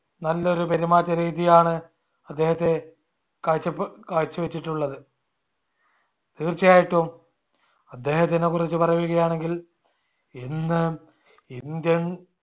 നല്ലൊരു പെരുമാറ്റ രീതിയാണ് അദ്ദേഹത്തെ കാഴ്ചപ് കാഴ്ചവെച്ചിട്ടുള്ളത് തീർച്ചയായിട്ടും അദ്ദേഹത്തിനെകുറിച്ച് പറയുകയാണെങ്കിൽ ഇന്ന് indian